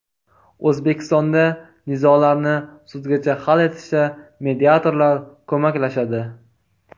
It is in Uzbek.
O‘zbekistonda nizolarni sudgacha hal etishda mediatorlar ko‘maklashadi.